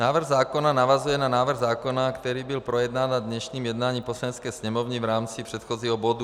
Návrh zákona navazuje na návrh zákona, který byl projednán na dnešním jednání Poslanecké sněmovny v rámci předchozího bodu.